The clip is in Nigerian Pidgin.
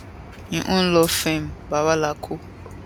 im own law firm bwala co